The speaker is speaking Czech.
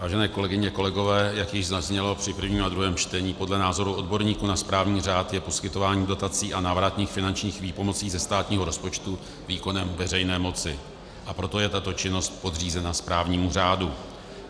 Vážené kolegyně, kolegové, jak již zaznělo při prvním a druhém čtení, podle názoru odborníků na správní řád je poskytování dotací a návratných finančních výpomocí ze státního rozpočtu výkonem veřejné moci, a proto je tato činnost podřízena správnímu řádu.